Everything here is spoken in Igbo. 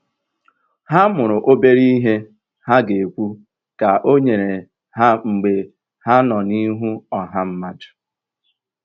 Ha mụrụ obere ihe ha ga-ekwu ka ọ nyere ha mgbe ha nọ n'ihu ọha mmadụ.